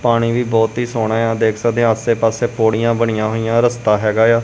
ਪਾਣੀ ਵੀ ਬਹੁਤ ਹੀ ਸੋਹਣਾ ਆ। ਦੇਖ ਸਕਦੇ ਆ ਆਸੇ ਪਾਸੇ ਪੌੜੀਆਂ ਬਣੀਆਂ ਹੋਈਆਂ ਰਸਤਾ ਹੈਗਾ ਆ।